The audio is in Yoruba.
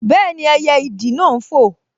Bẹ́ẹ̀ni, ẹyẹ ìdì náà n fò